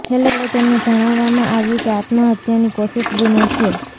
છેલ્લે તેમને જણાવવામાં આવ્યું કે આત્મહત્યાની કોશિશ ગુનો છે